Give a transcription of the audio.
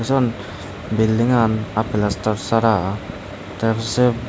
jon belding an aa pelastar sara te se.